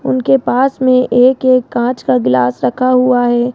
उनके पास में एक एक कांच का ग्लास रखा हुआ है।